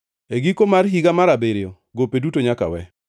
E giko mar higa mar abiriyo gope duto nyaka we.